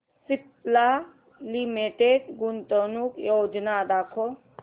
Cipla limited गुंतवणूक योजना दाखव